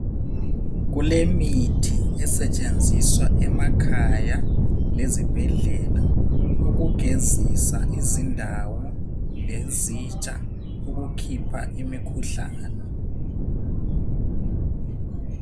Kulemithi esetshenziswa emakhaya lezibhedlela ukugezisa izindawo lezitsha, ukukhipha imikhuhlane.